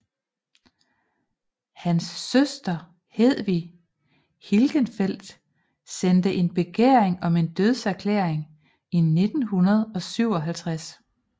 Hans søster Hedwig Hilgenfeldt sendte en begæring om en dødserklæring i 1957